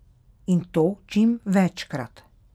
In to čim večkrat.